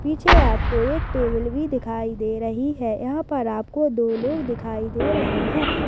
पीछे आपको एक टेबल भी दिखाई दे रही है यहाँ पर आपको दो लोग दिखाई दे रहे है।